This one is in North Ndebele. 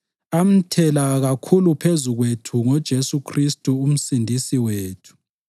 amthela kakhulu phezu kwethu ngoJesu Khristu uMsindisi wethu